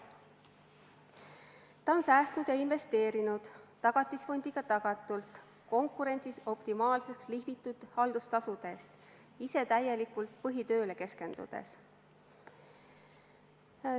Ta on säästnud ja investeerinud Tagatisfondiga tagatult konkurentsis optimaalseks lihvitud haldustasude eest, ise täielikult põhitööle keskendudes.